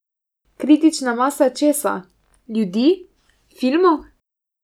Kritična masa česa, ljudi, filmov?